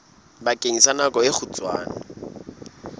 bakeng sa nako e kgutshwane